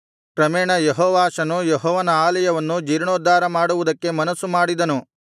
ಕ್ರಮೇಣ ಯೆಹೋವಾಷನು ಯೆಹೋವನ ಆಲಯವನ್ನು ಜೀರ್ಣೋದ್ಧಾರ ಮಾಡುವುದಕ್ಕೆ ಮನಸ್ಸು ಮಾಡಿದನು